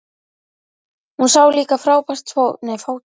Hún sá líka fátækt fólk, berfætt og illa klætt.